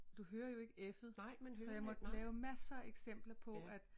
Du hører jo ikke F'et så jeg måtte lave masser eksempler på at